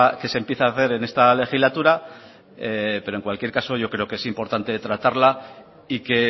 que se empiece a hacer en esta legislatura pero en cualquier caso yo creo que es importante tratarla y que